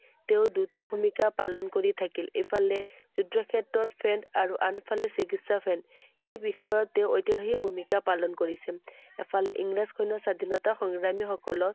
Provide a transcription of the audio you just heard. তেওঁ দুটা ভূমিকা পালন কৰি থাকিল। ইফালে যুদ্ধক্ষেত্ৰত french আৰু আনফালে চিকিৎসা ফালে এই বিষয়ত তেওঁ ঐতিহাসিক ভূমিকা পালন কৰিছিল। এফালে ইংৰাজ সৈন্য় স্বাধীনতা সংগ্ৰামীসকলৰ